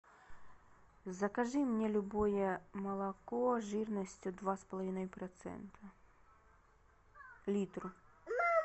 закажи мне любое молоко жирностью два с половиной процента литр